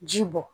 Ji bɔ